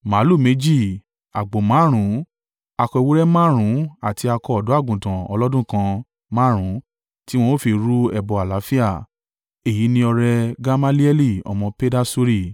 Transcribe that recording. màlúù méjì, àgbò márùn-ún, akọ ewúrẹ́ márùn-ún àti akọ ọ̀dọ́-àgùntàn ọlọ́dún kan márùn-ún tí wọn ó fi rú ẹbọ àlàáfíà. Èyí ni ọrẹ Gamalieli ọmọ Pedasuri.